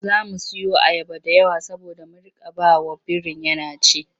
Za mu siyo ayaba da yawa saboda mu riƙa ba wa birin yana ci.